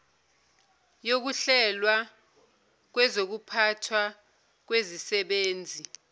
yokuhlelwa kwezokuphathwa kwezisebenzi